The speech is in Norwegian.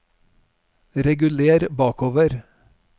reguler bakover